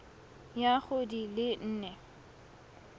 ya go di le nne